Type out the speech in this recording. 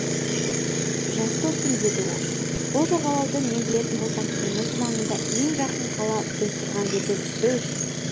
жас достым деді ол бұл жағалауды мен білетін болсам теңіз маңына ең жақын қала біз тұрған жерден үш